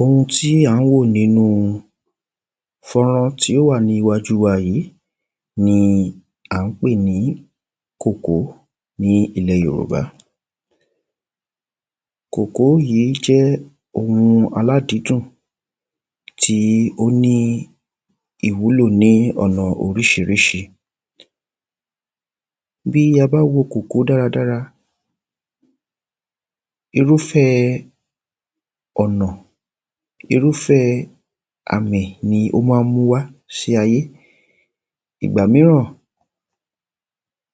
Ohun tí à ń wò nínú fọ́nrán tó wà ní iwájú wa yí ni à ń pè ní kòkó ní ilẹ Yòròbá Kòkó yí jẹ́ ohun aládídùn. Tí ó ní ìwúlò ní ọ̀nà orísírísí. Bí a bá wo kòkó dáradára, Irúfẹ́ẹ ọ̀nà irúfẹ́ẹ àmì ni ó má ń mú wá sí ayé. Ìgbà míràn,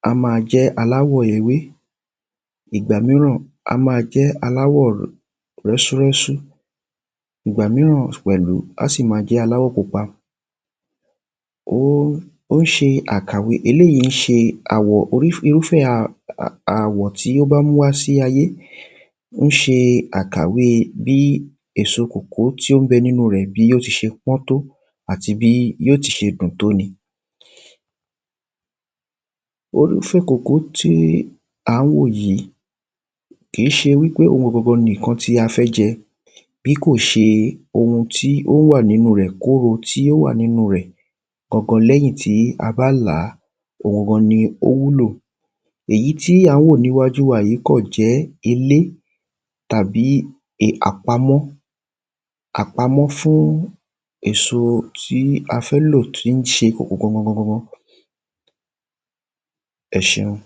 a má a jẹ́ aláwọ̀ ewé. Ìgbà míràn, a má a jẹ́ aláwọ̀ rẹ́sú rẹ́sú. Ìgbà míràn, a sì ma jẹ́ aláwọ̀ pupa. Ó ń ṣe àkàwé eléyí ń ṣe àwọ̀ orísí irúfẹ́ àwò tí ó bá mú wá sí ayé. Ń ṣe àkàwé bí èso kòkó tí ó ń bẹ nínú rẹ̀ bí yó se pọ̀ tó àti bí yó se dùn tó ni. kòkó tí à ń wò yí. Kí ṣe wípé òhun gangan ni ǹkan tí a fẹ́ jẹ. Bí kò ṣe ohun tí ó wà nínú rẹ̀ kóro tí ó wà nínú rẹ̀. Gangan lẹ́yìn tí a bá lá ohun gangan ni ó wúlò. Èyí tí à ń wò níwájú wa yí kàn jẹ́ ilé tàbí è àpamọ́. Àpamọ́ fún èso tí a fẹ́ lò tí ń ṣe kòkó gangan gangan. Ẹ ṣeun.